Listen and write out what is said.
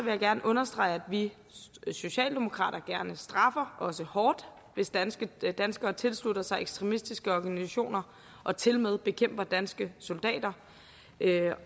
jeg gerne understrege at vi socialdemokrater gerne straffer og også hårdt hvis danskere danskere tilslutter sig ekstremistiske organisationer og tilmed bekæmper danske soldater der